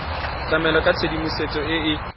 tlamela ka tshedimosetso e e